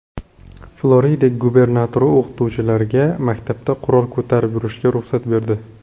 Florida gubernatori o‘qituvchilarga maktabda qurol ko‘tarib yurishga ruxsat berdi.